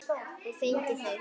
Og fengið þau.